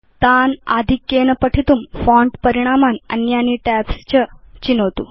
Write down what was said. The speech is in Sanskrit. एतान् आधिक्येन पठितुं फोंट परिणामान् अन्यानि टैब्स् च विचिनोतु